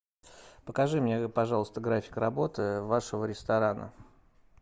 покажи мне пожалуйста график работы вашего ресторана